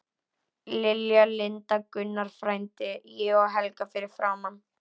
Lilja, Linda, Gunnar frændi, ég og Helga fyrir framan.